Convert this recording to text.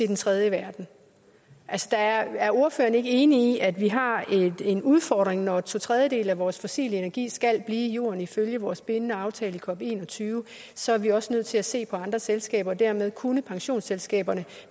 den tredje verden altså er ordføreren ikke enig i at vi har en udfordring når to tredjedele af vores fossile energi skal blive i jorden ifølge vores bindende aftale fra cop21 så er vi også nødt til at se på andre selskaber og dermed kunne pensionsselskaberne